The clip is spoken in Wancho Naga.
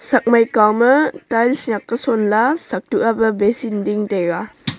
chak mai kaw ma tails nak a son la a sak tuk ape basen ding taiga.